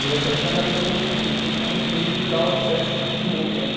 E nessa época eu andava de skate também, então eu tinha muito medo de usar certos tipos de roupa, né?